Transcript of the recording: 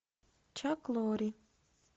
чак лорри